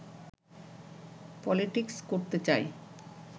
politics করতে চায়